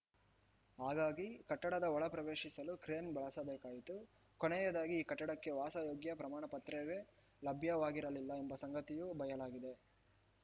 ಹಾಗಾಗಿ ಕಟ್ಟಡದ ಒಳ ಪ್ರವೇಶಿಸಲು ಕ್ರೇನ್‌ ಬಳಸಬೇಕಾಯಿತು ಕೊನೆಯದಾಗಿ ಈ ಕಟ್ಟಡಕ್ಕೆ ವಾಸಯೋಗ್ಯ ಪ್ರಮಾಣ ಪತ್ರವೇ ಲಭ್ಯವಾಗಿರಲಿಲ್ಲ ಎಂಬ ಸಂಗತಿಯೂ ಬಯಲಾಗಿದೆ